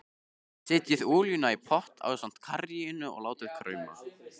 Setjið olíuna í pott ásamt karríinu og látið krauma.